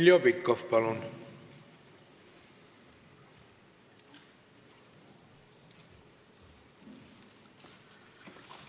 Heljo Pikhof, palun!